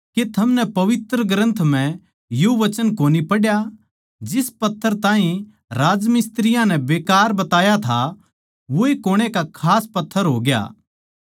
के थमनै पवित्र ग्रन्थ म्ह यो वचन कोनी पढ्या जिस पत्थर ताहीं राजमिस्त्रियाँ नै बेकार बताया था वोए कुणै का खास पत्थर होग्या